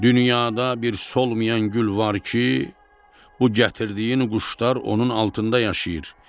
Dünyada bir solmayan gül var ki, bu gətirdiyin quşlar onun altında yaşayır.